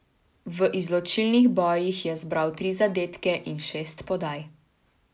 V izločilnih bojih je zbral tri zadetke in šest podaj.